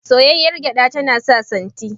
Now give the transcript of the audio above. Soyayyar gyaɗa tana sa santi.